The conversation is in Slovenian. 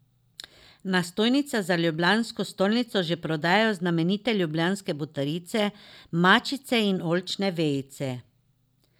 Na stojnicah za ljubljansko stolnico že prodajajo znamenite ljubljanske butarice, mačice in oljčne vejice.